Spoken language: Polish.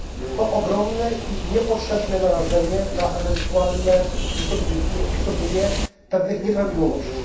To ogromne i niepotrzebne narażenie na ewentualne wystąpienie pewnych nieprawidłowości.